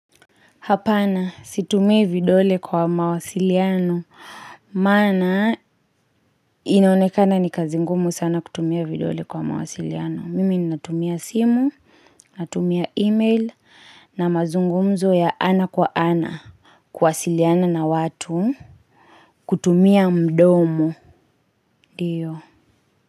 Hapana, situmii vidole kwa mawasiliano. Maana, inaonekana ni kazingumu sana kutumia vidole kwa mawasiliano. Mimi ninatumia simu, natumia email, na mazungumzo ya ana kwa ana. Kuasiliana na watu, kutumia mdomo, ndiyo.